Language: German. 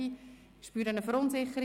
Ich spüre eine Verunsicherung.